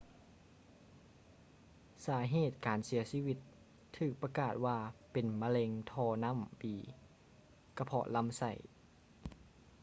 ສາເຫດຂອງການເສຍຊີວິດຖືກປະກາດວ່າເປັນມະເຮັງທໍ່ນ້ຳບີກະເພາະລຳໄສ້